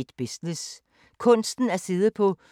Samme programflade som øvrige dage